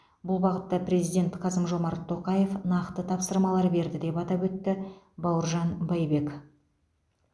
бұл бағытта президент қасым жомарт тоқаев нақты тапсырмалар берді деп атап өтті бауыржан байбек